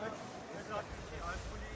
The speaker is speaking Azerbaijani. Dayanıb, çək.